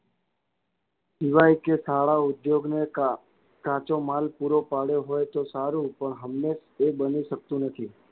કે શાળાઉધોગને કાચો માલ પૂરો પાડ્યો હોય તો સારું પણ હંમેશ એ બની શકતું નથી.